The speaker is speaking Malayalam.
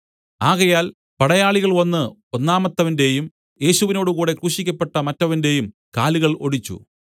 ആകയാൽ പടയാളികൾ വന്നു ഒന്നാമത്തവന്റെയും യേശുവിനോടുകൂടെ ക്രൂശിക്കപ്പെട്ട മറ്റവന്റെയും കാലുകൾ ഒടിച്ചു